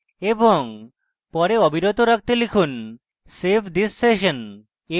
পরে অবিরত রাখতে লিখুন save thissession